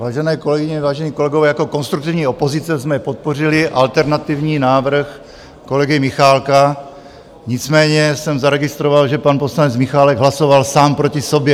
Vážené kolegyně, vážení kolegové, jako konstruktivní opozice jsme podpořili alternativní návrh kolegy Michálka, nicméně jsem zaregistroval, že pan poslanec Michálek hlasoval sám proti sobě.